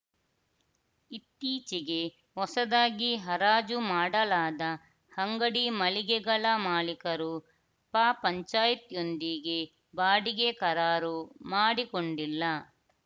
ಇತ್ತೀಚೆಗೆ ಹೊಸದಾಗಿ ಹರಾಜು ಮಾಡಲಾದ ಅಂಗಡಿ ಮಳಿಗೆಗಳ ಮಾಲೀಕರು ಪ ಪಂಚಾಯತ್ ಯೊಂದಿಗೆ ಬಾಡಿಗೆ ಕರಾರು ಮಾಡಿಕೊಂಡಿಲ್ಲ